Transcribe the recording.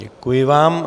Děkuji vám.